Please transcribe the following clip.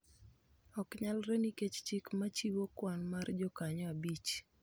ok nyalre nikech chik ma chiwo kwan mar jokanyo abich.